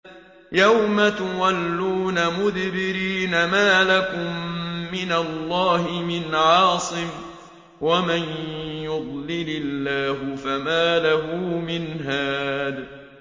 يَوْمَ تُوَلُّونَ مُدْبِرِينَ مَا لَكُم مِّنَ اللَّهِ مِنْ عَاصِمٍ ۗ وَمَن يُضْلِلِ اللَّهُ فَمَا لَهُ مِنْ هَادٍ